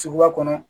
Suguba kɔnɔ